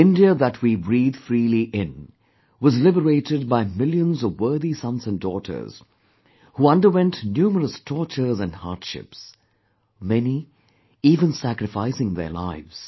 The India that we breathe freely in was liberated by millions of worthy sons and daughters who underwent numerous tortures and hardships; many even sacrificing their lives